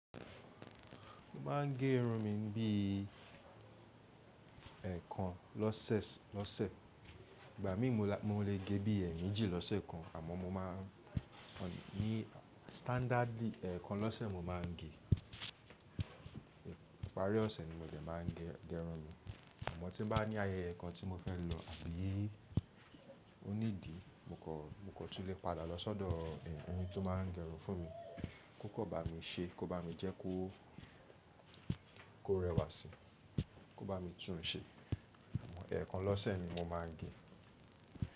Mo máa ń gé irun mi bí ẹ̀kan lọ́sẹ̀. Ìgbà míi mo lè gé bí ẹ̀mejì lọ́sẹ̀ kan, àmọ́ mo máa ń Ní standardi, ẹ̀kan lọ́sẹ̀ mo máa ń gé. Ìparí ọ̀sẹ̀ ni mo jẹ́ máa ń gẹ irun mi. Àmọ́ tí mo bá ní ayẹyẹ kan tí mo fẹ́ lọ àbí onídìí, mo kò túlẹ̀ padà lọ sọ́dọ̀ ẹni tó máa ń gẹ irun fún mi kí ó kọ̀ bà mí ṣe, kí ó bà mí jẹ́ kó rẹwàsí, kí ó bà mí tùn ṣe. Ẹ̀kan lọ́sẹ̀ ni mo máa ń gé.